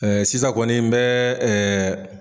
sisan kɔni n bɛ